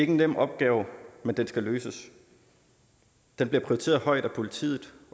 en nem opgave men den skal løses den bliver prioriteret højt af politiet